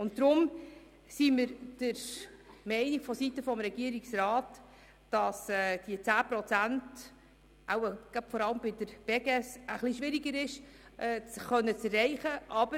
Deshalb ist der Regierungsrat der Meinung, dass die geforderten 10 Prozent Eigenfinanzierung im Fall der Beges schwieriger zu erreichen sind.